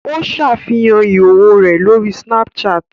Ó ṣàfihàn ìhòòhò rẹ̀ lórí Snapchat